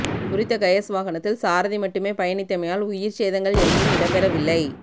குறித்த கயஸ் வாகனத்தில் சாரதிமட்டுமே பயணித்தமையால் உயிர்ச் சேதங்கள் எவையும் இடம்பெறவில்லை